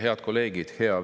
Head kolleegid!